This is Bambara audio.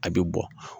A bɛ bɔ